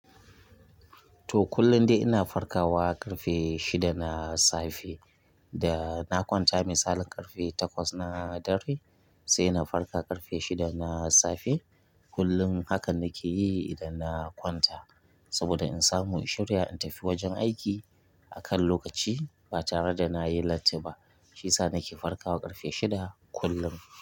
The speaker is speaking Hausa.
To, kullum dai ina farkawa ƙarfe shida na safe da na kwanta misalin ƙarfe takwas na dare, sai na farka ƙarfe shida na safe. Kullum haka nake yi idan na kwanta. Saboda in samu in shirya in tafi wajen aiki a kan lokaci ba tare da na yi latti ba shiyasa nake farkawa ƙarfe shida kullum.